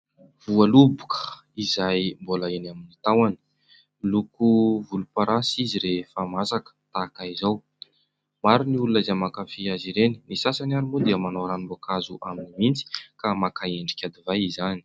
Voaloboka izay mbola eny amin'ny tahony. Miloko volomparasy izy rehefa masaka tahaka izao. Maro ny olona izay mankafy azy ireny ; ny sasany ary moa dia manao ranom-boankazo azy ka maka endrika divay izany.